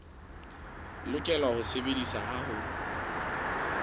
lokela ho sebediswa ha ho